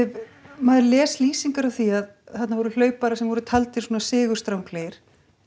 maður les lýsingar á því að þarna voru hlauparar sem voru taldir sigurstranglegir